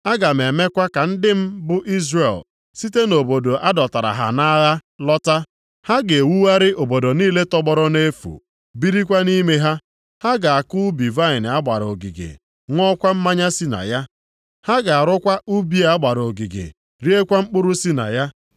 Aga m emekwa ka ndị m bụ Izrel site nʼobodo a dọtara ha nʼagha lọta. + 9:14 Aga m emekwa ka ndị m Izrel nwetakwa ihe ọma niile. “Ha ga-ewugharị obodo niile tọgbọrọ nʼefu, birikwa nʼime ha. Ha ga-akụ ubi vaịnị a gbara ogige, ṅụọkwa mmanya si na ya. Ha ga-arụkwa ubi a gbara ogige, riekwa mkpụrụ si na ya.